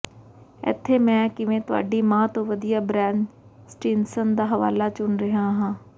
ਇੱਥੇ ਮੈਂ ਕਿਵੇਂ ਤੁਹਾਡੀ ਮਾਂ ਤੋਂ ਵਧੀਆ ਬਰੈਨ ਸਟਿਨਸਨ ਦਾ ਹਵਾਲਾ ਚੁਣ ਰਿਹਾ ਹਾਂ